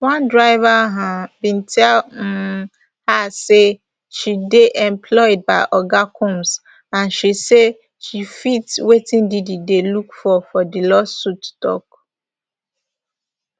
one driver um bin tell um her say she dey employed by oga combs and say she fit wetin diddy dey look for di lawsuit tok